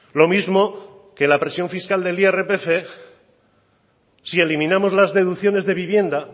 lo mismo que la presión fiscal del irpf si eliminamos las deducciones de vivienda